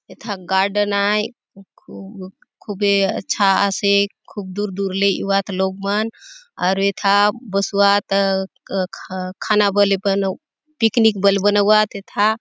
एथा गार्डन आय खुब खुबे अच्छा आसे खुब दूर - दूर ले एउआत लोग मन आरु एथा बसुआत अ खाना बले पिकनिक बले बनाऊआत एथा--